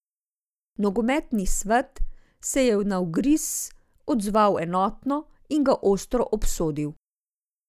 Nogometni svet se je na ugriz odzval enotno in ga ostro obsodil.